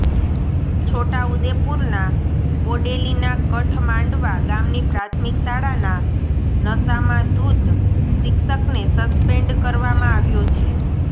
છોટાઉદેપુરના બોડેલીના કઠ માંડવા ગામની પ્રાથમિક શાળાના નશામાં ધૂત શિક્ષકને સસ્પેન્ડ કરવામાં આવ્યો છે